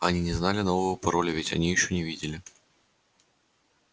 они не знали нового пароля ведь они ещё не видели